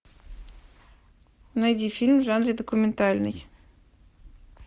найди фильм в жанре документальный